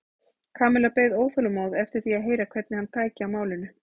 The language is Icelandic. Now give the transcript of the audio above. Kamilla beið óþolinmóð eftir því að heyra hvernig hann tæki á málinu.